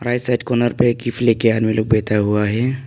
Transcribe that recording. Right side corner पे एक gift ले के आने वाले लोग बैठा हुआ है।